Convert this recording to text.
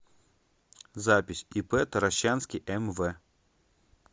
запись ип таращанский мв